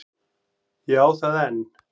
Ég á það enn.